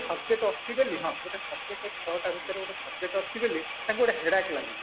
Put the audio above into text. subject ଅଛି ବୋଲି ହଁ ଗୋଟେ subject ରେ ଛ ଟା ଭିତରେ ଗୋଟେ subject ଅଛି ବୋଲି ତାଙ୍କୁ ଗୋଟେ headache ଲାଗୁନି